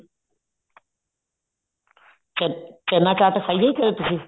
ਚ ਚਨਾ ਚਾਟ ਖਾਈ ਹੈ ਤੁਸੀਂ